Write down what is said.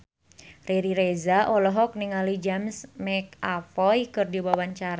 Riri Reza olohok ningali James McAvoy keur diwawancara